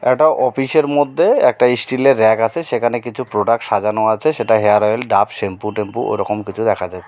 একটা অফিসের মধ্যে একটা ইস্টিলের রেক আছে। সেখানে কিছু প্রোডাক্ট সাজানো আছে। সেটা হেয়ার অয়েল ডাভ শ্যাম্পু টেম্পু ওরকম কিছু দেখা যাচ্ছে।